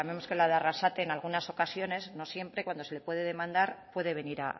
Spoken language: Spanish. que la de arrasate en algunas ocasiones no siempre cuando se le puede demandar puede venir